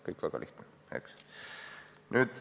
Kõik on väga lihtne, eks ole.